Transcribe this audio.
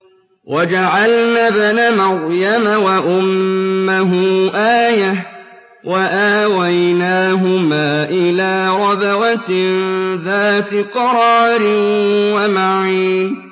وَجَعَلْنَا ابْنَ مَرْيَمَ وَأُمَّهُ آيَةً وَآوَيْنَاهُمَا إِلَىٰ رَبْوَةٍ ذَاتِ قَرَارٍ وَمَعِينٍ